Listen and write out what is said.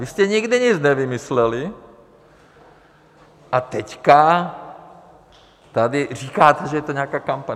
Vy jste nikdy nic nevymysleli a teď tady říkáte, že je to nějaká kampaň.